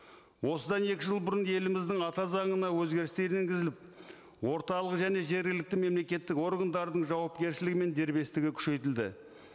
осыдан екі жыл бұрын еліміздің ата заңына өзгерістер енгізіліп орталық және жергілікті мемлекеттік органдардың жауапкершілігі мен дербестігі күшейтілді